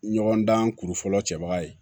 Ɲɔgɔndan kuru fɔlɔ cɛbaga ye